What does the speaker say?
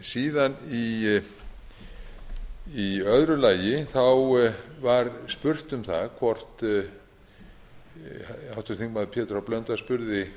síðan í öðru lagi var spurt um það hvort háttvirtur þingmaður pétur h blöndal spurði